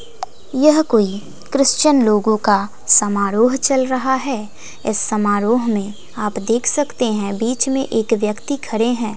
यह कोई क्रिश्चियन लोगों का समारोह चल रहा है इस समारोह में आप देख सकते हैं बीच में एक व्यक्ति खरे हैं।